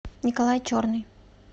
николай черный